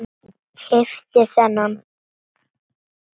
Keypti þennan.